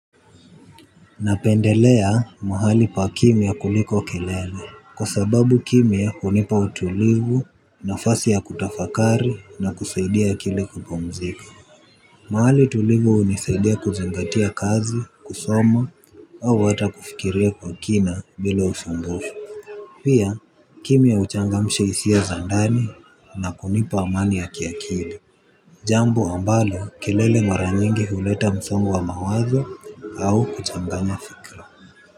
Napendelea mahali pa kimya kuliko kelele. Kwa sababu kimya hunipa utulivu nafasi ya kutafakari na kusaidia akili kupumzika. Mahali tulivu hunisaidia kuzingatia kazi, kusoma au hata kufikiria kwa kina bila usumbufu. Pia kimya huchangamsha hisia za ndani na kunipa amani ya kiakili. Jambo ambalo kelele mara nyingi huleta msongo wa mawazo au kuchanganya fikra.